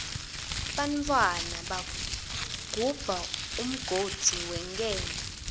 bantfwana bagubha umgodzi wenkento